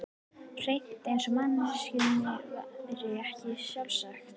Hreint eins og manneskjunni væri ekki sjálfrátt.